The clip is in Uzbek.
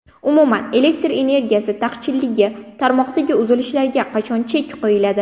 Umuman, elektr energiyasi taqchilligi, tarmoqdagi uzilishlarga qachon chek qo‘yiladi?